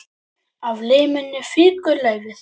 Af liminu fýkur laufið.